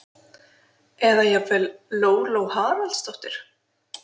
eða jafnvel: Lóló Haraldsdóttir!